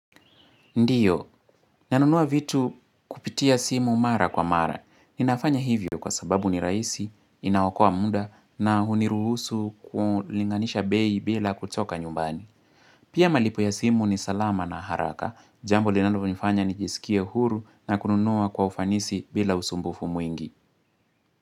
Ndio, nanunua vitu kupitia simu mara kwa mara. Ninafanya hivyo kwa sababu ni raisi, inaokoa muda na huniruhusu kulinganisha bei bila kutoka nyumbani. Pia malipo ya simu ni salama na haraka. Jambo linalov nifanya ni jisikie huru na kununua kwa ufanisi bila usumbufu mwingi.